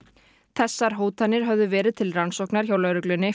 þessar hótanir höfðu verið til rannsóknar hjá lögreglunni